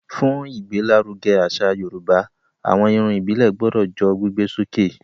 Fún ìgbé l'áruge àṣà yorùbá, àwọn Irun ìbílè gbodò jó gbígbé sókè